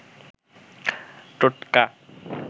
টোটকা